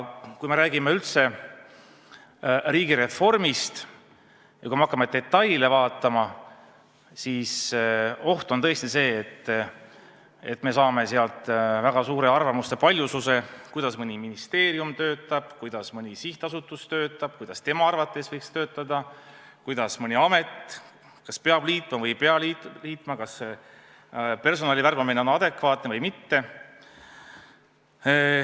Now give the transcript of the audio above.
Kui me räägime üldse riigireformist ja kui me hakkame detaile vaatama, siis oht on tõesti see, et me saame väga suure arvamuste paljususe selle kohta, kuidas mõni ministeerium töötab, kuidas mõni sihtasutus töötab, kuidas tema arvates tuleks töötada, kas mõned ametid peab liitma või ei pea liitma, kas personali värbamine on adekvaatne või mitte.